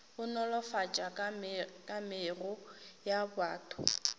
go nolofatša kamego ya batho